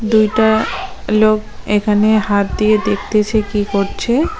দুইটা লোক এখানে হাত দিয়ে দেখতেছে কি করছে।